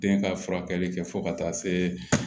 Den ka furakɛli kɛ fo ka taa se